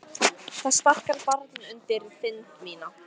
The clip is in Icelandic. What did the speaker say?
Það sparkar barn undir þind mína.